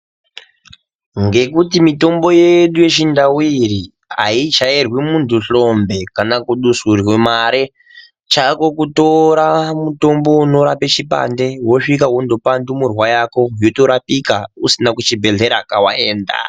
Ngekuti mitombo yedu yechindau iyi haichairwi muntu hlombe kana kudusurwe mare. Chako kutora mutombo unorape chipande wosvika wotopa ndumurwa yako yotorapika kusina kuchibhedhlera kwawaenda.